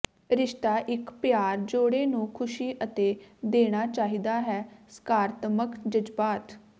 ਰਿਸ਼ਤਾ ਇਕ ਪਿਆਰ ਜੋੜੇ ਨੂੰ ਖ਼ੁਸ਼ੀ ਅਤੇ ਦੇਣਾ ਚਾਹੀਦਾ ਹੈ ਸਕਾਰਾਤਮਕ ਜਜ਼ਬਾਤ